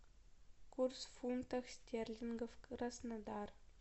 курс фунтов стерлингов краснодар